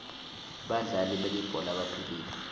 badlali belibhola baphilile